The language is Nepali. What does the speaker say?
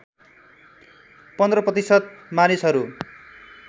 १५ प्रतिशत मानिसहरू